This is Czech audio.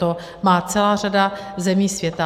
To má celá řada zemí světa.